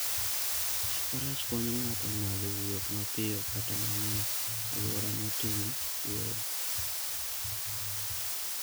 Faras konyo ng'ato ng'ado wuoth mapiyo kata mana e alwora motimo kwoyo.